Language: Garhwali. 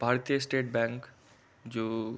भारतीय स्टेट बैंक जू --